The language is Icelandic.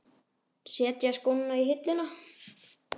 Setja skóna á hilluna?